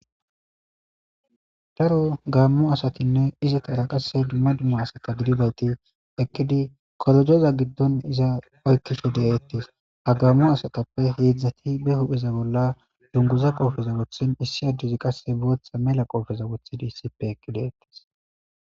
Daro gammo asatinne izitara qasse dumma dumma asaka gidibayti ekkidi korojoza giddon iza oykkife de7eettis ha gammo asatappe heedzdzati be hupheza bolla dunguza qoofeza wothin issi adduzi qasse booththa mela qoofeza wothidi issippe ekideettis